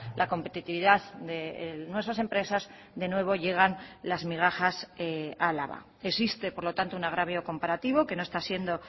la competitividad de nuestras empresas de nuevo llegan las migajas a álava existe por lo tanto una agravio comparativo que no está siendo